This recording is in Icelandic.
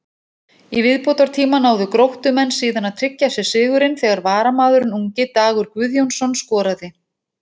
Í viðbótartíma náðu Gróttumenn síðan að tryggja sér sigurinn þegar varamaðurinn ungi Dagur Guðjónsson skoraði.